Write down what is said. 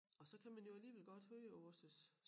Også kan man jo alligevel godt høre også